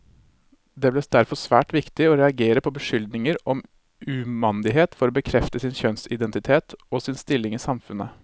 Det ble derfor svært viktig å reagere på beskyldninger om umandighet for å bekrefte sin kjønnsidentitet, og sin stilling i samfunnet.